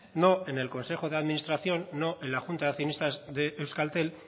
no en el consejo de administración no en la junta de accionistas de euskaltel